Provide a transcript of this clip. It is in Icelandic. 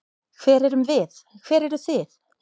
Hver erum við, hver eru þið?